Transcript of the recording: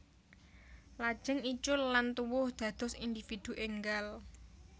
Lajeng icul lan tuwuh dados individu énggal